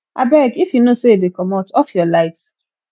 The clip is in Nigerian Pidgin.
abeg if you know sey you dey comot off your light